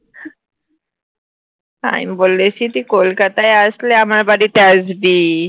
আমি বলেছি তুই কলকাতায় আসলে আমার বাড়িতে আসবি